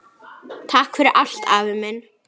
Takk fyrir allt, afi minn.